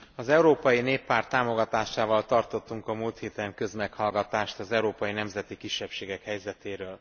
Az Európai Néppárt támogatásával tartottunk a múlt héten közmeghallgatást az európai nemzeti kisebbségek helyzetétől.